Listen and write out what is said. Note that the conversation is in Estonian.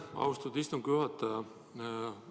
Aitäh, austatud istungi juhataja!